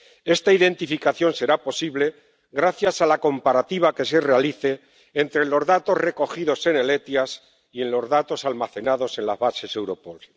Esta identificación será posible gracias a la comparativa que se realice entre los datos recogidos en el SEIAV y los datos almacenados en las bases Europol.